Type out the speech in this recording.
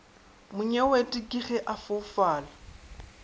monyewete ke ge a foufala